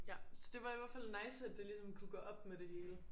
Ja så det var i hvert fald nice at det ligesom kunne gå op med det hele